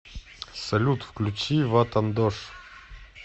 салют включи ватандош